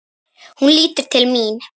Hún lítur til mín.